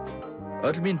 öll mín